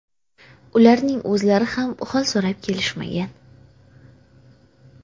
Ularning o‘zlari ham hol so‘rab kelishmagan.